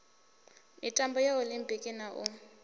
mitambo ya olimpiki na u